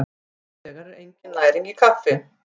Hins vegar er engin næring í kaffi.